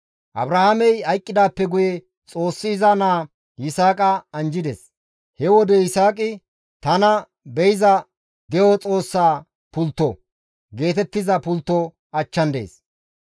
Abrahaamey hayqqidaappe guye Xoossi iza naa Yisaaqa anjjides. He wode Yisaaqi, «Tana Be7iza De7o Xoossaa Pultto» geetettiza pultto achchan dees.